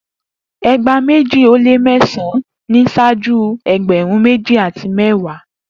Egba meji o le mẹsan-an ni ṣaaju ẹgbẹrun meji ati mẹwa